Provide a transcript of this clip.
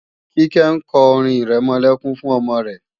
Kíkẹ́ ń kọ orin-ìrẹmọlẹ́kún fún ọmọ rẹ